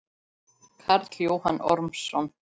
Karl Jóhann Ormsson